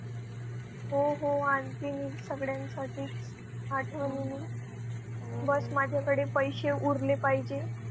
हो हो आणते मी सगळ्यांसाठी आठवणीनी बस माझ्याकडे पैसे उरले पाहिजे.